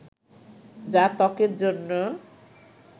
যা ত্বকের জন্য